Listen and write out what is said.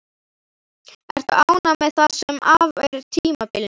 Ertu ánægð með það sem af er tímabilinu?